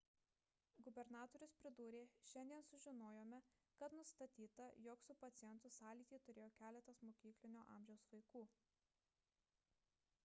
gubernatorius pridūrė šiandien sužinojome kad nustatyta jog su pacientu sąlytį turėjo keletas mokyklinio amžiaus vaikų